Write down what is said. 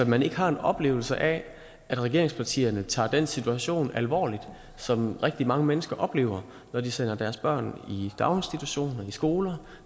man ikke har en oplevelse af at regeringspartierne tager den situation alvorligt som rigtig mange mennesker oplever når de sender deres børn i daginstitutioner og i skoler